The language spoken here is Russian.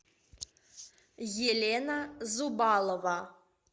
елена зубалова